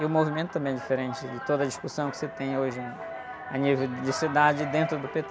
E o movimento também é diferente, de toda discussão que você tem hoje a nível de cidade e dentro do pê-tê.